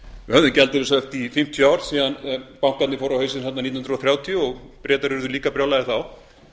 höfðum gjaldeyrishöft í fimmtíu ár síðan bankarnir fóru á hausinn þarna nítján hundruð þrjátíu og bretar urðu líka brjálaðir þá